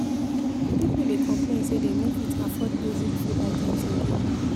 Pipo dey complain say dem no fit afford basic food items again.